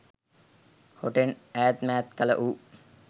හොටෙන් ඈත් මෑත් කළ ඌ